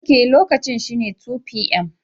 Ok, lokacin shine 2pm.